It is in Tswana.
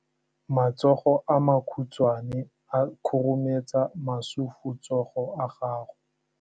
Matsogo a makhutshwane a khurumetsa masufutsogo a gago.